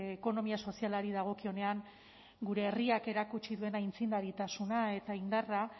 ekonomia sozialari dagokionean gure herriak erakutsi duen aitzindaritasuna eta indarra